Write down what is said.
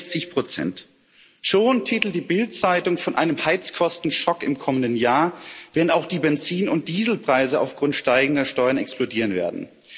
65 Schon titelt die Bild Zeitung von einem Heizkosten Schock im kommenden Jahr, wenn auch die Benzin und Dieselpreise aufgrund steigender Steuern explodieren werden.